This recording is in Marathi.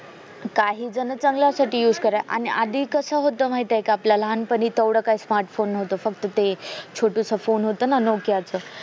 काही जण चांगल्यासाठी असे करायला आणि आधी कस होत माहितेय का आपल्यालहांपणी तेवढं काही smartphone नव्हतं तेवढं ते छोटूस फोन होत ना Nokia च